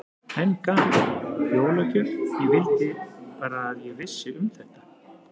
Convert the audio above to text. Enn gaman, jólagjöf, ég vildi bara að ég vissi um þetta.